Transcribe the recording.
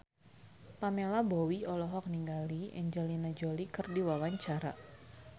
Pamela Bowie olohok ningali Angelina Jolie keur diwawancara